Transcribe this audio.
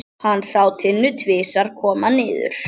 Hann sá Tinnu tvisvar koma niður.